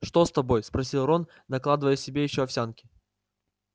что с тобой спросил рон накладывая себе ещё овсянки